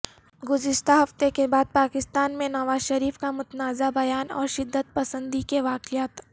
گذشتہ ہفتے کے پاکستان میں نواز شریف کا متنازع بیان اور شدت پسندی کے واقعات